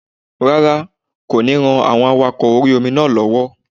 Rárá, kò ní ran àwọn awakọ̀ orí-omi náà lọ́wọ́